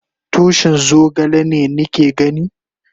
Tushin zogale ne ni ke gani?